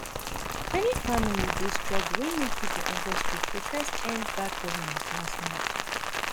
many families dey struggle wey make pipo enta street protest end bad governance last month